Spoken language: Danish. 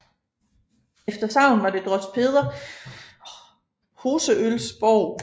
Efter sagn var det drost Peder Hoseøls borg